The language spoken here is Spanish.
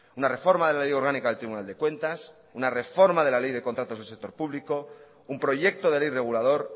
una reforma de la ley orgánica del tribunal de cuentas una reforma de la ley de contratos del sector público un proyecto de ley regulador